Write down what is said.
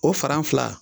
O fara fila